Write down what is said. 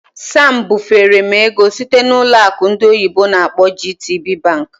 Sam bufere m ego site na ụlọ akụ ndị oyibo n'akpọ "GTBank".